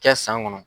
Kɛ san kɔnɔ